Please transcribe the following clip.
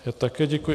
Já také děkuji.